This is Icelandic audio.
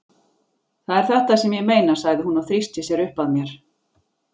Það er þetta sem ég meina, sagði hún og þrýsti sér uppað mér.